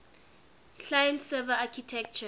client server architecture